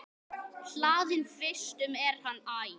Hlaðinn vistum er hann æ.